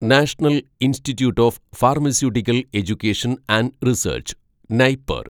national institute of pharmaceutical education and research (NIPER)